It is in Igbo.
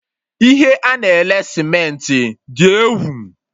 Ihe a na-ele Cementị dị egwu!